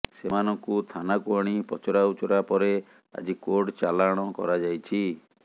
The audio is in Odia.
ସେମାନଙ୍କୁ ଥାନାକୁ ଆଣି ପଚରାଉଚରା ପରେ ଆଜି କୋର୍ଟ ଚାଲାଣ କରାଯାଇଛି